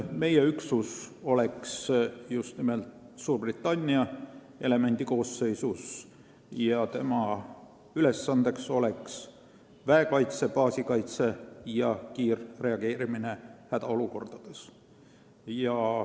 Meie üksus oleks just nimelt Suurbritannia elemendi koosseisus ja tema ülesanne oleks väekaitse, baasikaitse ja kiirreageerimine hädaolukordades.